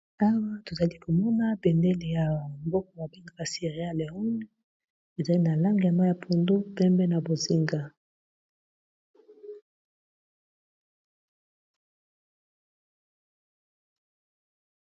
Awa tozali komona bendeli ya mboka babengaka Cierra Leone ezali na langi ya mayi ya pondu, pembe na bonzenga.